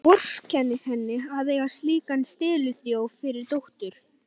Vorkennir henni að eiga slíkan steliþjóf fyrir dóttur.